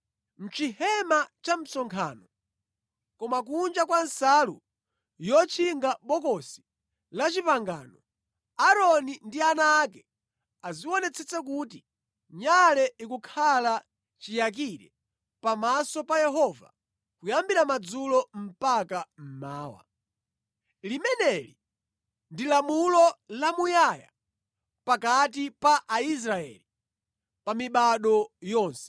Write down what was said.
Mʼchihema cha msonkhano, koma kunja kwa nsalu yotchinga Bokosi la Chipangano, Aaroni ndi ana ake azionetsetsa kuti nyale ikukhala chiyakire pamaso pa Yehova kuyambira madzulo mpaka mmawa. Limeneli ndi lamulo lamuyaya pakati pa Aisraeli pa mibado yonse.”